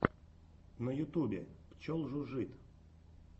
на ютубе пчел жужжит